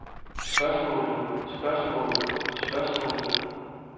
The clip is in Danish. spørgsmålet spørgsmålet spørgsmålet